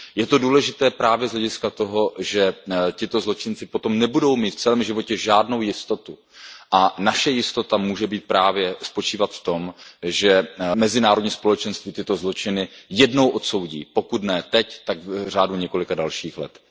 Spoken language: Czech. Je to důležité právě z hlediska toho, že tito zločinci potom nebudou mít v celém životě žádnou jistotu, a naše jistota může právě spočívat v tom, že mezinárodní společenství tyto zločiny jednou odsoudí, pokud ne teď, tak v řádu několika dalších let.